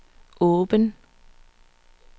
åben